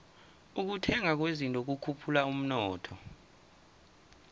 ukuthengwa kwezinto kukhuphula umnotho